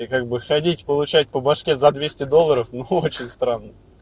и как бы ходить получать по башке за двести долларов но очень странно